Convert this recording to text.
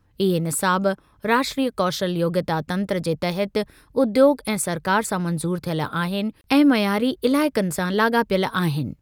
इहे निसाब राष्ट्रीय कौशल योग्यता तंत्र जे तहति उद्योॻु ऐं सरकार सां मंज़ूर थियल आहिनि ऐं मयारी इलाइक़नि सां लाॻापियल आहिनि।